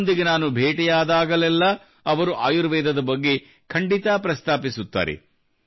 ಅವರೊಂದಿಗೆ ನಾನು ಭೇಟಿಯಾದಾಗಲೆಲ್ಲ ಅವರು ಆಯುರ್ವೇದದ ಬಗ್ಗೆ ಖಂಡಿತಾ ಪ್ರಸ್ತಾಪಿಸುತ್ತಾರೆ